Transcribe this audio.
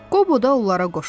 Qobu da onlara qoşuldu.